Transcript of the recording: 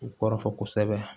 U kɔrɔfɔ kosɛbɛ